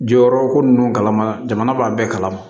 Jɔyɔrɔ ko ninnu kalama jamana b'a bɛɛ kalama